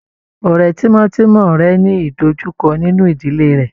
Ọ̀rẹ́ tímọ́tímọ́ rẹ̀ ń ní ìdọjúkọ́ nínú ìdílé rẹ̀.